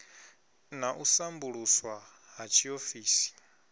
na u sambuluswa ha tshiofisi